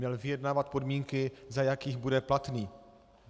Měl vyjednávat podmínky, za jakých bude platný.